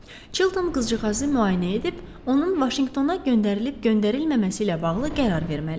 Çilton qızcığazı müayinə edib, onun Vaşinqtona göndərilib göndərilməməsi ilə bağlı qərar verməli idi.